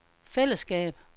fællesskab